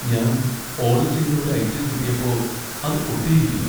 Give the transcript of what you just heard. ഞാൻ ഓഡർ ചെയ്ത ഒരു ഐറ്റം കിട്ടിയപ്പോ അത് പൊട്ടിയിയിരിക്കുന്നു.